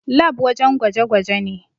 Lab wajen gwaje gwaje ne